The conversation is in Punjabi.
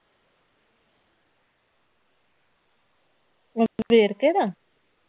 ਵੇਰਕੇ ਦਾ?